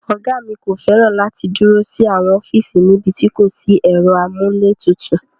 Ọ̀gá mi kò fẹ́ràn láti dúró sí àwọn ọ́fíìsì níbi tí kò sí ẹ̀rọ amúlétutù.